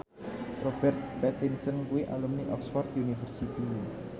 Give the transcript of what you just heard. Robert Pattinson kuwi alumni Oxford university